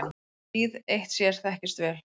Gríð eitt sér þekkist vel.